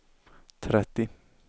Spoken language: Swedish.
trettio